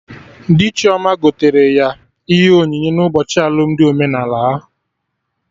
Dị Chioma gotere ya ihe onyinye n'ụbọchị alụmdi omenala ha